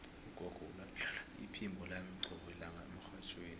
ugogo ulalela iphimbo lami qobe lilanga emrhatjhweni